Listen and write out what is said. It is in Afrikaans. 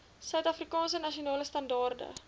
suidafrikaanse nasionale standaarde